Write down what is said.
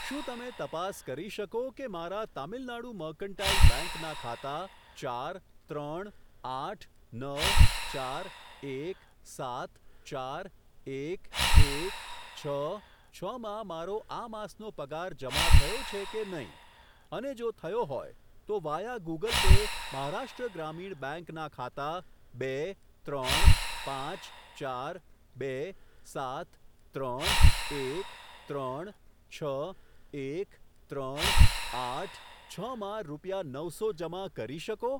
શું તમે તપાસ કરી શકો કે મારા તમિલનાડ મર્કન્ટાઈલ બેંક ના ખાતા ચાર ત્રણ આઠ નવ ચાર એક સાત ચાર એક એક છ છ માં મારો આ માસનો પગાર જમા થયો છે કે નહીં, અને જો થયો હોય, તો via Google Pay Maharashtra Gramin bank બેંકના ખાતા બે ત્રણ પાંચ ચાર બે સાત ત્રણ એક ત્રણ છ એક ત્રણ આઠ છ માં રૂપિયા નવસો જમા કરી શકો?